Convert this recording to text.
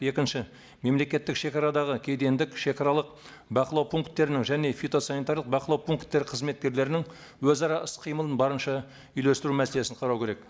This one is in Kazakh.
екінші мемлекеттік шегарадағы кедендік шегаралық бақылау пункттерінің және фитосанитарлық бақылау пункттері қызметкерлерінің өзара іс қимылын барынша үйлестіру мәселесін қарау керек